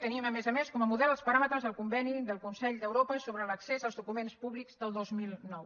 tenim a més a més com a model els paràmetres del conveni del consell d’europa sobre l’accés als documents públics del dos mil nou